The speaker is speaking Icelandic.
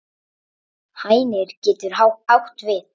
Hænir getur átt við